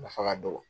Nafa ka dɔgɔ